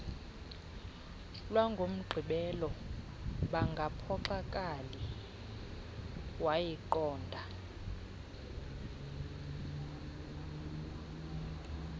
lwangomgqibelo bangaphoxakali wayiqonda